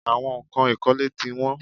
Àwọn nǹkan ìkọ́lé tí wọ́n.